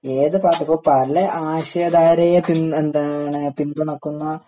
ഏത് പാർട്ടി ഇപ്പൊ പല ആശയധാരയെ എന്താണ് പിന്തുണക്കുന്ന